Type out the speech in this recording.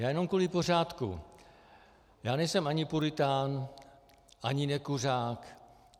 Já jenom kvůli pořádku - já nejsem ani puritán ani nekuřák.